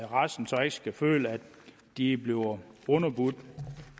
resten så ikke skal føle at de bliver underbudt